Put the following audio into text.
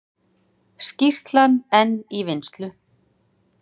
Skýrslan enn í vinnslu